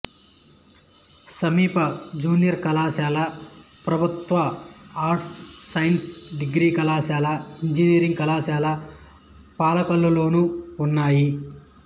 సమీప జూనియర్ కళాశాల ప్రభుత్వ ఆర్ట్స్ సైన్స్ డిగ్రీ కళాశాలఇంజనీరింగ్ కళాశాల పాలకొల్లులోనూ ఉన్నాయి